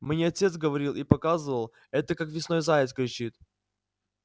мне отец говорил и показывал это как весной заяц кричит